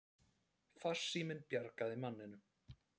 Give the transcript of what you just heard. Farsíminn bjargaði manninum